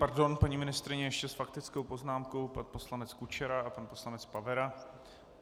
Pardon, paní ministryně, ještě s faktickou poznámkou pan poslanec Kučera a pan poslanec Pavera.